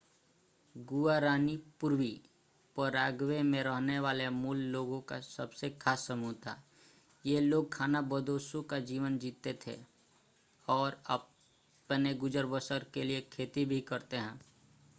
Guarani पूर्वी Paraguay में रहने वाले मूल लोगों का सबसे खास समूह था ये लोग खानाबदोशों का जीवन जीते हैं और अपने गुजर-बसर के लिए खेती भी करते हैं